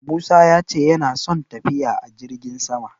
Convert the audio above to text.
Musa ya ce yana son tafiya a jirgin sama.